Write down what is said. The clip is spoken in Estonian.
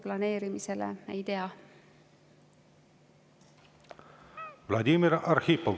Vladimir Arhipov, palun!